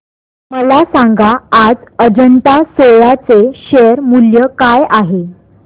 मला सांगा आज अजंता सोया चे शेअर मूल्य काय आहे